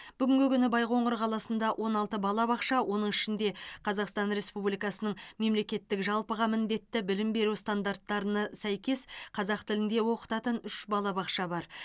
бүгінгі күні байқоңыр қаласында он алты балабақша оның ішінде қазақстан республикасының мемлекеттік жалпыға міндетті білім беру стандарттарына сәйкес қазақ тілінде оқытатын үш балабақша бар